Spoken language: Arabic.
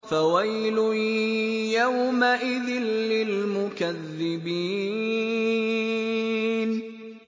فَوَيْلٌ يَوْمَئِذٍ لِّلْمُكَذِّبِينَ